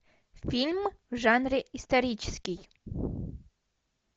фильм в жанре исторический